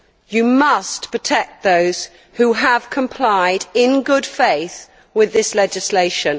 You must protect those who have complied, in good faith, with this legislation.